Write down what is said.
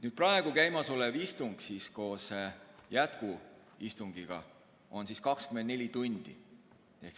Praegu käimasolev istung koos jätkuistungiga kestab 24 tundi.